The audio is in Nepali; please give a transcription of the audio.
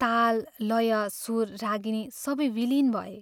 " ताल, लय, सुर, रागिनी सबै विलीन भए